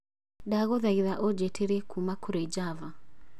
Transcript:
ndagũthaitha ũnjiĩtĩrie kuuma kũrĩ java